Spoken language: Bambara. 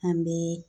An bɛ